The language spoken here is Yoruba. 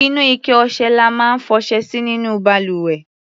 Inú ike ọṣẹ la máa ń fọṣẹ sí nínú balùwẹ̀.